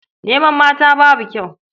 Neman mata babu kyau.